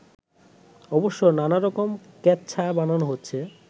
অবশ্য নানারকম কেচ্ছা বানানো হচ্ছে